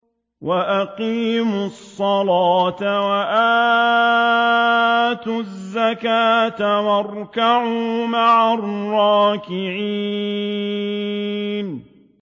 وَأَقِيمُوا الصَّلَاةَ وَآتُوا الزَّكَاةَ وَارْكَعُوا مَعَ الرَّاكِعِينَ